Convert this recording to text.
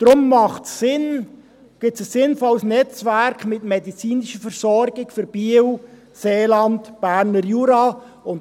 Deshalb macht es Sinn, dass es ein sinnvolles Netzwerk mit medizinischer Versorgung für Biel, Seeland, Berner Jura gibt.